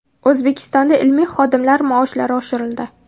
O‘zbekistonda ilmiy xodimlar maoshlari oshirildi.